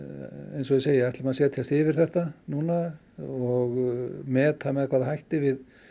eins og ég segi ætlum að setjast yfir þetta núna og meta með hvaða hætti við